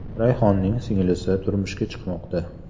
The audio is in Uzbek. Rayhonning singlisi turmushga chiqmoqda.